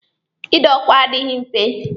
Ị dọ ọkwa adịghị nfe.